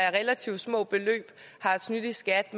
af relativt små beløb har snydt i skat